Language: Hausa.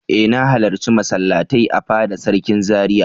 E! Na halarci masallatai a fada sarki Zaria.